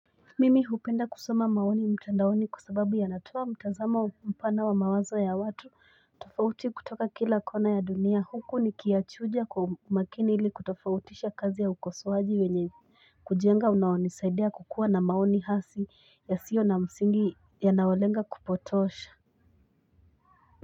Mimi hupenda kusoma maoni mtandaoni kwa sababu yanatoa mtazamo mpana wa mawazo ya watu tofauti kutoka kila kona ya dunia huku nikiyachuja kwa umakini ili kutofautisha kazi ya ukosoaji wenye kujenga unaonisaidia kukuwa na maoni hasi yasiyo na msingi yanayolenga kupotosha.